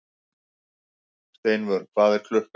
Steinvör, hvað er klukkan?